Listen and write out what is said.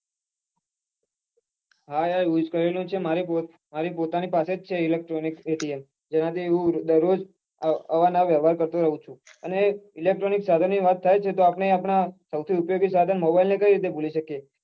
હા યાર use કરેલું છે મારી પ્પોતાની પાસે જ છે electronic atm જેનાથી હું દરરોજ અવાર નવાર વ્યવહાર કરો રાઉં છું અને electronic સાધન ની વાત થાય છે તો આપડે આપદા સૌથી ઉપયોગી સાધન mobile ને કઈ રીતે ભૂલી શકીએ